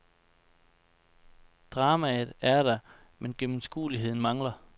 Dramaet er der, men gennemskueligheden mangler.